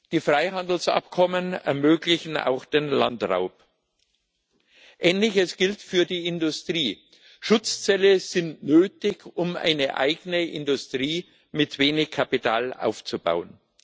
Die Freihandelsabkommen ermöglichen auch den Landraub. Ähnliches gilt für die Industrie Schutzzölle sind nötig, um eine eigene Industrie mit wenig Kapital aufzubauen.